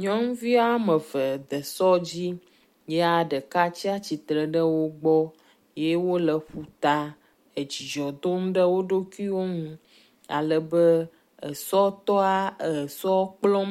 Nyɔnuvi ame eve de sɔ dzi ye ɖeka tsi atsitre ɖe wo gbɔ ye wo le ƒu ta edzidzɔ dom ɖe wo ɖokuiwo nu ale be esɔtɔa esɔ kplɔm